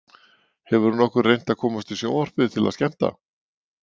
Hefurðu nokkuð reynt að komast í sjónvarpið til að skemmta?